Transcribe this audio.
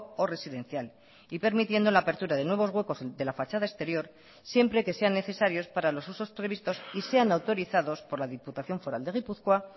o residencial y permitiendo la apertura de nuevos huecos de la fachada exterior siempre que sean necesarios para los usos previstos y sean autorizados por la diputación foral de gipuzkoa